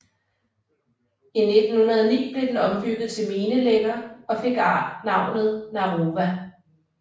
I 1909 blev den ombygget til minelægger og fik navnet Narova